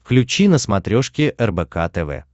включи на смотрешке рбк тв